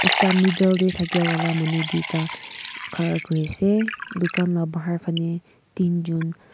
ekta middle teh thake wala manu dui ta khara kurise dukan lah bahar fane tin jon--